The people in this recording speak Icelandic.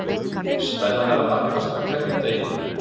Spennan er að magnast með hverjum deginum.